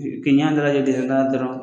U ki ɲɛ dalajɛ dɔrɔn.